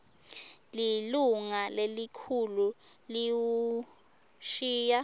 lilunga lelikhulu liwushiya